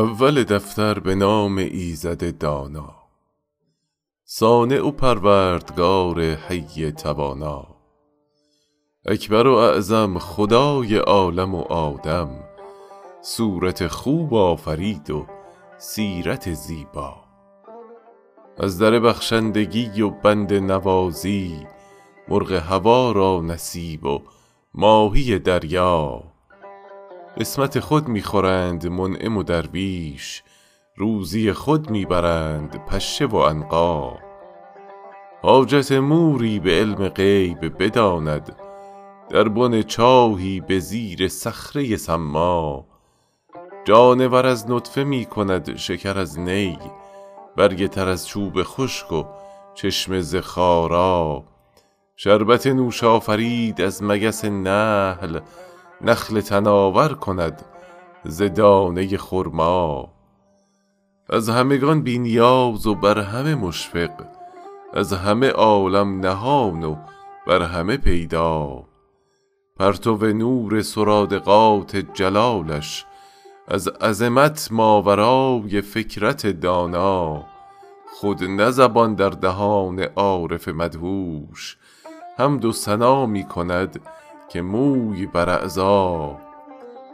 اول دفتر به نام ایزد دانا صانع پروردگار حی توانا اکبر و اعظم خدای عالم و آدم صورت خوب آفرید و سیرت زیبا از در بخشندگی و بنده نوازی مرغ هوا را نصیب و ماهی دریا قسمت خود می خورند منعم و درویش روزی خود می برند پشه و عنقا حاجت موری به علم غیب بداند در بن چاهی به زیر صخره ی صما جانور از نطفه می کند شکر از نی برگ تر از چوب خشک و چشمه ز خارا شربت نوش آفرید از مگس نحل نخل تناور کند ز دانه ی خرما از همگان بی نیاز و بر همه مشفق از همه عالم نهان و بر همه پیدا پرتو نور سرادقات جلالش از عظمت ماورای فکرت دانا خود نه زبان در دهان عارف مدهوش حمد و ثنا می کند که موی بر اعضا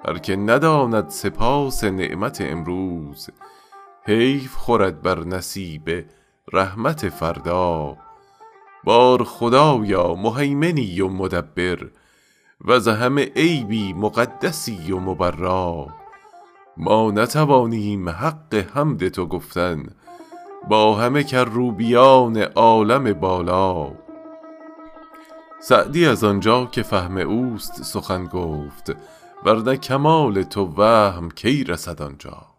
هر که نداند سپاس نعمت امروز حیف خورد بر نصیب رحمت فردا بار خدایا مهیمنی و مدبر وز همه عیبی مقدسی و مبرا ما نتوانیم حق حمد تو گفتن با همه کروبیان عالم بالا سعدی از آنجا که فهم اوست سخن گفت ور نه کمال تو وهم کی رسد آنجا